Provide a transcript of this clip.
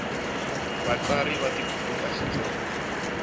vatsari va tibuku ta xitsonga